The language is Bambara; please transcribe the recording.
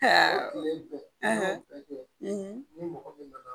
tile bɛ ni mɔgɔ bɛ baga